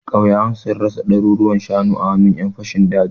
Ƙauyukan sun rasa ɗaruruwan shanu a hannun ƴan fashin dajin.